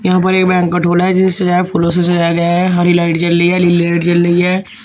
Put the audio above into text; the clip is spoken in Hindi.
यहां पर एक बैंकेट हॉल है जिसे सजाया फूलों से सजाया गया है। हरी लाइट जल रही है नीली लाइट जल रही है।